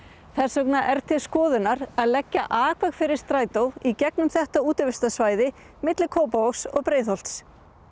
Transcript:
þess vegna er til skoðunar að leggja akveg fyrir strætó í gegnum þetta útivistarsvæði milli Kópavogs og Breiðholts